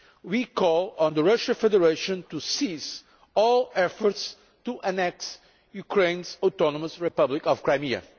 We call on the Russian Federation to cease all efforts to annex Ukraine's autonomous republic of Crimea.